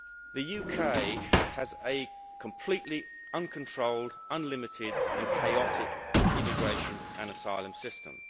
The UK has a completely uncontrolled, unlimited and chaotic immigration and asylum system.